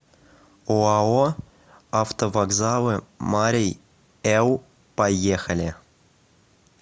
ооо автовокзалы марий эл поехали